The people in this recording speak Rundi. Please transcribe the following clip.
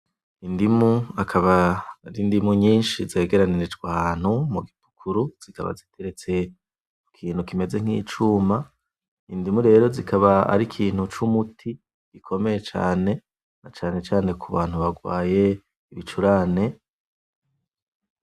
Indimu akaba ari indimu nyishi zegeranirijwe ahantu m'ugikarato zikaba zigeretse kukintu kimeze nk'icuma ,Indimu rero zikaba arikintu c'umuti gikomeye cane , N'acane cane k'ubantu barwaye ibicurane